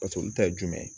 paseke olu ta ye jumɛn ye